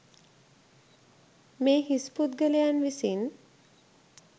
මේ හිස් පුද්ගලයන් විසින්